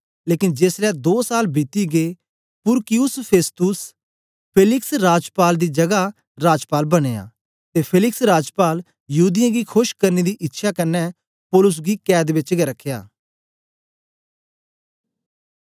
लेकन जेसलै दो साल बीती गै पुरकियुस फेस्तुस फेलिक्स राजपाल दी जगा राजपाल बनया ते फेलिक्स राजपाल यहूदीयें गी खोश करने दी इच्छया कन्ने पौलुस गी कैद बेच गै रखया